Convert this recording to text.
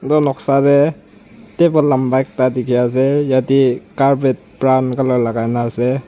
etu noksa de table lamba ekta diki ase yete carpet brown color lagai na ase.